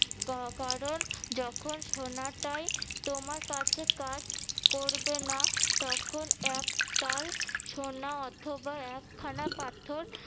আহ কারণ যখন সোনাটাই তোমার কাছে কাজ করবে না তখন এক তাল সোনা অথবা একখানা পাথর